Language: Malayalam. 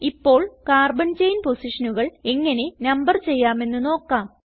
ഇപ്പോൾ കാർബൺ ചെയിൻ പൊസിഷനുകൾ എങ്ങനെ നമ്പർ ചെയ്യാമെന്ന് നോക്കാം